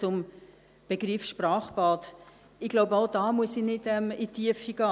Dann zum Begriff Sprachbad: Ich glaube, auch da muss ich nicht in die Tiefe gehen.